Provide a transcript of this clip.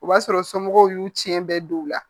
O b'a sɔrɔ somɔgɔw y'u ciɲɛ bɛɛ don u la